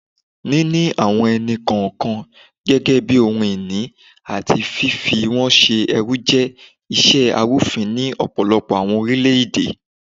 Nini awọn ẹni-kọọkan gẹgẹbi ohun-ini ati fifi wọn ṣe ẹrú jẹ iṣe arufin ni ọpọlọpọ awọn orilẹ-ede